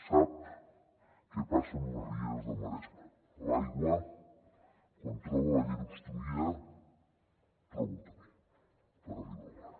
sap què passa amb les rieres del maresme l’aigua quan troba la llera obstruïda troba un camí per arribar al mar